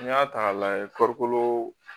N'i y'a ta k'a lajɛ farikolo